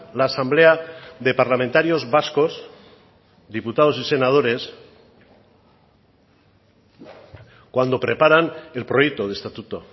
la asamblea de parlamentarios vascos diputados y senadores cuando preparan el proyecto de estatuto